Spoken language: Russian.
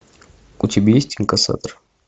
у тебя есть инкассатор